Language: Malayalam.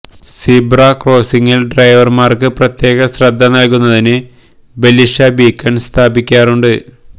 സീബ്ര കോസ്റ്റിംഗിൽ ഡ്രൈവർമാർക്ക് പ്രത്യേക ശ്രദ്ധ നൽകുന്നതിന് ബെലീഷ ബീക്കൺ സ്ഥാപിക്കാറുണ്ട്